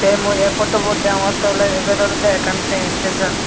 te mui ey potubot deongotte awle ibet olode ekkan train esteson.